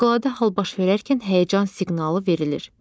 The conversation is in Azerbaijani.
Fövqəladə hal baş verərkən həyəcan siqnalı verilir.